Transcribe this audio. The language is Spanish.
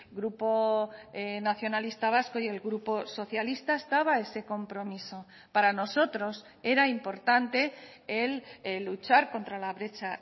grupo nacionalista vasco y el grupo socialista estaba ese compromiso para nosotros era importante el luchar contra la brecha